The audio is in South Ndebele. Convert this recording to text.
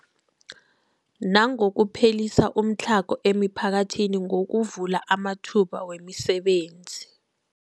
Nangokuphelisa umtlhago emiphakathini ngokuvula amathuba wemisebenzi.